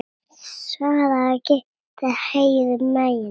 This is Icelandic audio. Sama gilti um Hægri græna.